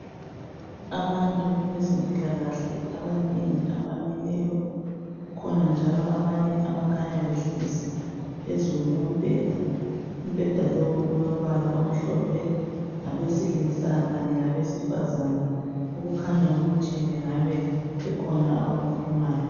abantu bezempilakahle abanengi abamileyo kukhon njalo abanye abakhanya behlezi phezulu kombheda olombhala omhlophe abesilisa kanye labesifazane okukhanyawo ukuthi bekhona abakuhle